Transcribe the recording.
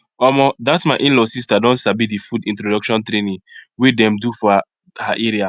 omo that my inlaw sister don sabi the food introduction training wey dem do for her area